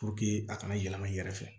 a kana yɛlɛma i yɛrɛ fɛ